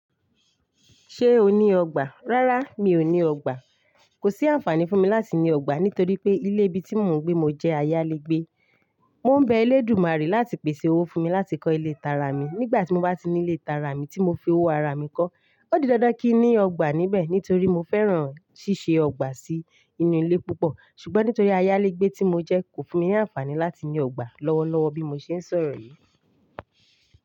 Ṣé o ní ọgbà? Rárá, mi ò ní ọgbà. Kò sí àǹfààní fún mi láti ní ọgbà nítorí pé ilé ibi tí mò ń gbé mo jẹ́ ayálégbé. Mò ń bẹ eléèdúmàrè láti pèsè owó fún mi láti kọ́ ilé tara mi. Nígbà tí mo bá ní ilé tara mi tí mo fi owó ara mi kọ́, ó di dandan kí n ní ọgbà níbẹ̀ nítorí mo fẹ́ràn ṣíṣe ọgbà sí inú ilé púpọ̀. Ṣùgbọ́n nítorí ayálégbé tí mo jẹ́, kò fún mi ní àǹfààní láti ní ọgbà lọ́wọ́lọ́wọ́ bí mo ṣe ń sọ̀rọ̀ yí.